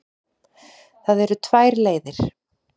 Það eru tvær leiðir.